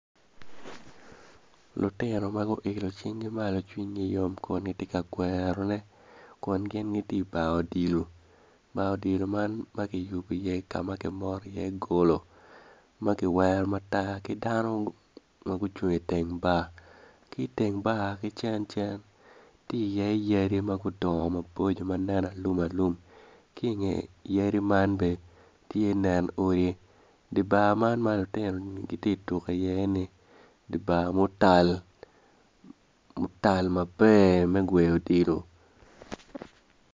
Lutino ma guilo cingi malo kun gitye ka kwerone kun gin gitye i bar odilo bar odilo man ka ma kiyubo iye ki moto iye golo ma kiwero matar ki dano ma gucung i teng golo ki i teng bar ki cencen tye iye yadi ma gudongo ma gitye alumalum ki i nge yadi man bene tye nen odi dibar man ma lutino tye ka tuko iye ni dibar mutal otal maber me gweyo odilo.